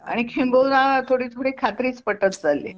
आणि किंबहुना थोडी थोडी खात्रीच पटत चाललीय